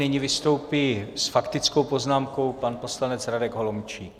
Nyní vystoupí s faktickou poznámkou pan poslanec Radek Holomčík.